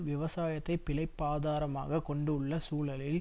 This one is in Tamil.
விவசாயத்தை பிழைப்பாதாரமாக கொண்டுள்ள சூழலில்